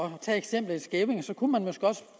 at tage eksemplet i skævinge så kunne man måske også